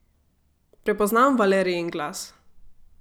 Prepoznam Valerijin glas.